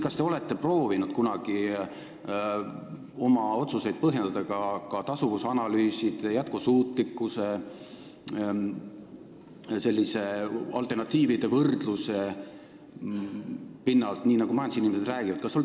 Kas te olete kunagi proovinud oma otsuseid põhjendada ka tasuvusanalüüside, jätkusuutlikkuse ja alternatiivide võrdluse pinnalt, nagu majandusinimesed räägivad?